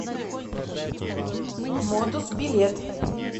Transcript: модус билет